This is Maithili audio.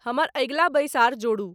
हमर अगिला बैसार जोड़ू।